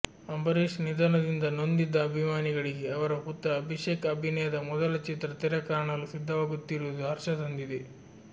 ಅಂಬರೀಶ್ ನಿಧನದಿಂದ ನೊಂದಿದ್ದ ಅಭಿಮಾನಿಗಳಿಗೆ ಅವರ ಪುತ್ರ ಅಭಿಷೇಕ್ ಅಭಿನಯದ ಮೊದಲ ಚಿತ್ರ ತೆರೆಕಾಣಲು ಸಿದ್ಧವಾಗುತ್ತಿರುವುದು ಹರ್ಷ ತಂದಿದೆ